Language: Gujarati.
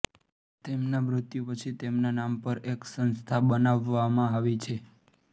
તેમના મૃત્યુ પછી તેમના નામ પર એક સંસ્થા બનાવવામાં આવી છે